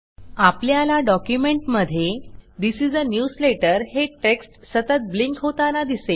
आपल्याला डॉक्युमेंटमध्ये this is a newsletter हे टेक्स्ट सतत ब्लिंक होताना दिसेल